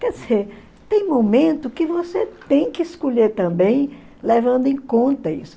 Quer dizer, tem momento que você tem que escolher também levando em conta isso.